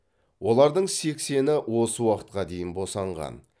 олардың сексені осы уақытқа дейін босанған